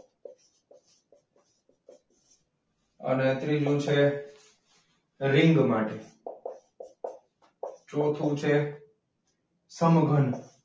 અને ત્રીજુ છે રીંગ માટે. ચોથુ છે સમઘન.